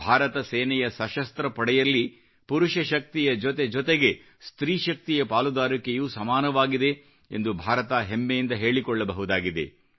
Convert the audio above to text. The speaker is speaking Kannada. ಭಾರತ ಸೇನೆಯ ಸಶಸ್ತ್ರ ಪಡೆಯಲ್ಲಿ ಪುರುಷ ಶಕ್ತಿಯ ಜೊತೆ ಜೊತೆಗೆ ಸ್ತ್ರೀ ಶಕ್ತಿಯ ಪಾಲುದಾರಿಕೆಯೂ ಸಮಾನವಾಗಿದೆ ಎಂದು ಭಾರತ ಹೆಮ್ಮೆಯಿಂದ ಹೇಳಿಕೊಳ್ಳಬಹುದಾಗಿದೆ